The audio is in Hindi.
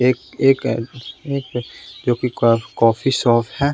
एक एक अ एक जो कि कॉफ कॉफी शॉप है--